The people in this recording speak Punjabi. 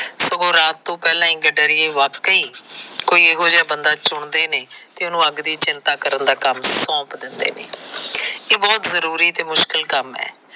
ਸਗੋਂ ਰਾਤ ਤੋ ਹੀ ਪਹਿਲਾਂ ਹੀ ਗੱਡਰੀਏ ਵਾਕਿਏ ਹੀ ਕੋਈ ਇਹੋ ਜਿਹਾ ਬੰਦਾ ਚੁਣਦੇ ਨੇ ਤੇ ਉਹਨੂੰ ਅੱਗ ਦੀ ਚਿੰਤਾ ਕਰਨ ਦਾ ਕੰਮ ਸੌਂਪ ਦਿੰਦੇ ਨੇ। ਇਹ ਬਹੁਤ ਜਰੂਰੀ ਤੇ ਮੁਸ਼ਕਿਲ ਕੰਮ ਹੈ।